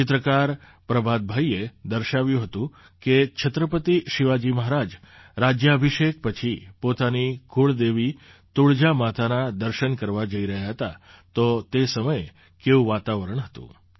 ચિત્રકાર પ્રભાતભાઈએ દર્શાવ્યું હતું કે છત્રપતિ શિવાજી મહારાજ રાજ્યાભિષેક પછી પોતાની કુળદેવી તુળજા માતાના દર્શન કરવા જઈ રહ્યા હતા તો તે સમયે કેવું વાતાવરણ હતું